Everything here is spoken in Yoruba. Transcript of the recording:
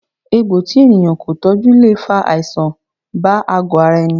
Egbò tí ènìyàn kò tọjú le fa àìsàn bá àgo ara ẹni